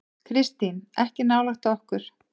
Kristín: Ekki nálægt okkur.